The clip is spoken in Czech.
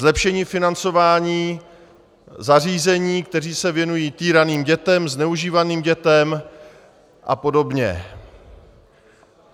Zlepšení financování zařízení, která se věnují týraným dětem, zneužívaným dětem a podobně.